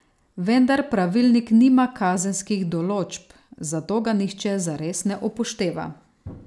Vendar pravilnik nima kazenskih določb, zato ga nihče zares ne upošteva.